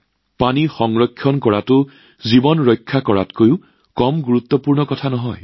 পানী সংৰক্ষণ কৰাটো জীৱন ৰক্ষা কৰাতকৈ কম নহয়